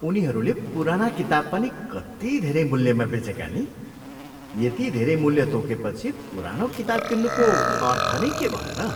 उनीहरूले पुराना किताब पनि कति धेरै मूल्यमा बेचेका नि? यति धेरै मूल्य तोकेपछि, पुरानो किताब किन्नुको अर्थ नै के भयो र?